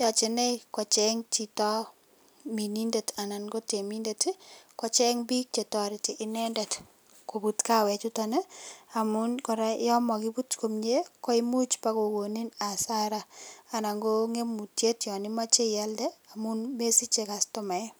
yache inei kecheng Chito minindet anan kotemindet kocheng bik chetareti inendet kobut kawek chuton amun koraa yamakibute komie koimuch bakokonin Asaram anana ko ngetutiet yanimache iyalde amun mesiche kastomaek